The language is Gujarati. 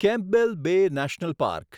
Campbell Bay National park